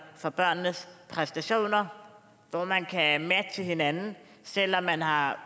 for børnenes præstationer hvor man kan matche hinanden selv om man har